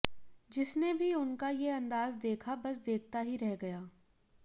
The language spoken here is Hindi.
जिसने भी उनका ये अंदाज़ देखा बस देखता रह गया